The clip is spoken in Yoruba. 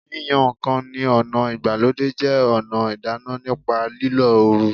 Yíyan ǹkan ní ọ̀nà ìgbàlódé jẹ́ ọ̀nà ìdáná nípa lílo oru